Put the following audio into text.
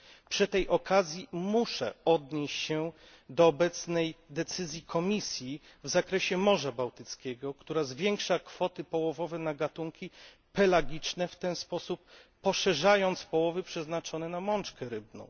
Przy tej okazji muszę się odnieść do obecnej decyzji Komisji w zakresie Morza Bałtyckiego, która zwiększa kwoty połowowe na gatunki pelagiczne, w ten sposób poszerzając połowy przeznaczone na mączkę rybną.